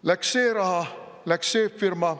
Läks see raha, läks see firma.